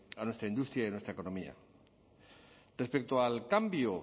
a nuestra industria y a nuestra economía respecto al cambio